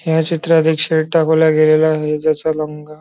या चित्रात एक शर्ट दाखवला गेलेला आहे ज्याचा रंग--